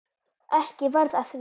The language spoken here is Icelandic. Ekki varð af því.